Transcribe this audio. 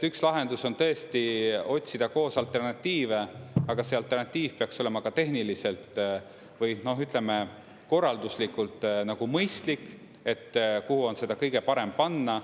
Üks lahendus on tõesti otsida koos alternatiive, aga see alternatiiv peaks olema ka tehniliselt või, ütleme, korralduslikult nagu mõistlik, et kuhu on seda kõige parem panna.